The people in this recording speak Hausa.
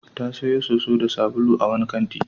Ta sayo soso da sabulu a wani kanti.